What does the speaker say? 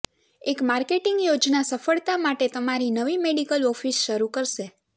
એક માર્કેટિંગ યોજના સફળતા માટે તમારી નવી મેડિકલ ઓફિસ શરૂ કરશે